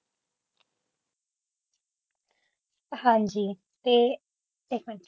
ਹਾਜੀ ਤੇ ਇਕ ਮਿੰਟ